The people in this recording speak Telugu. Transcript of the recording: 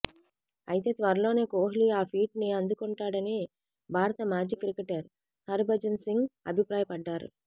అయితే త్వరలోనే కోహ్లి ఆ ఫీట్ ని అందుకుంటాడని భారత మాజీ క్రికెటర్ హర్భజన్ సింగ్ అభిప్రాయపడ్డాడు